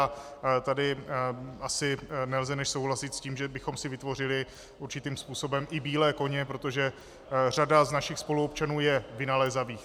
A tady asi nelze než souhlasit s tím, že bychom si vytvořili určitým způsobem i bílé koně, protože řada z našich spoluobčanů je vynalézavých.